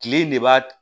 Kile in de b'a